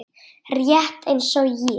Rétt eins og ég.